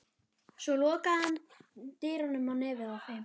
Svo lokaði hann dyrunum á nefið á þeim.